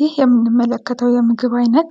ይህ የሚንመለከተው የምግብ ዓይነት